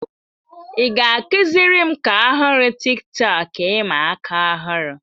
Ị ga-akụziri m ka ọhụrụ Tiktọk ịma aka ọhụrụ?